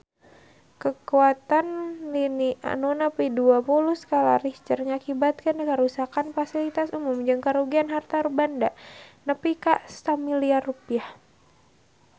Kakuatan lini nu nepi dua puluh skala Richter ngakibatkeun karuksakan pasilitas umum jeung karugian harta banda nepi ka 1 miliar rupiah